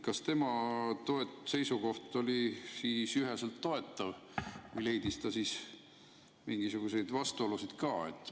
Kas tema seisukoht oli üheselt toetav või leidis ta mingisuguseid vastuolusid ka?